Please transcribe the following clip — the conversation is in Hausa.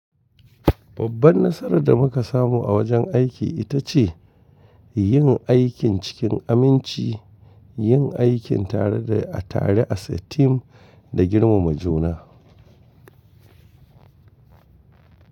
Babban nasarar da muka samu a wajen aiki ita ce yin aikin cikin aminci, yin aikin tare da tare aa a team da girmama juna.